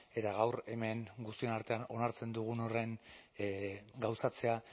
eta gaur hemen guztion artean onartzen dugun horren gauzatzea